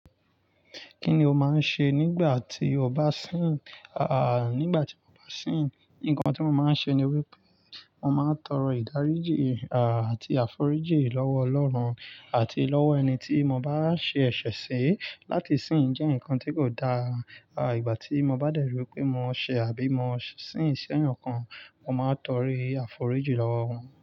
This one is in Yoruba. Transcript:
Kí ni o máa ń ṣe nígbà tí o bá sìn? Nígbà tí mo bá sìn, nǹkan tí mo máa ń ṣe ni wípé mo máa ń tọrọ ìdáríjì, àti àforíjì lọ́wọ́ Ọlọ́run àti lọ́wọ́ ẹni tí mo bá ṣe ẹ̀ṣẹ̀ sí láti sìn jẹ́ nǹkan tí kò da. Ìgbà tí mo bá dẹ̀rí wipé mo ṣẹ̀ àbí mo sìn ṣẹ̀yàn kan, mo máa tọri àforíjì lọ́wọ́ wọn.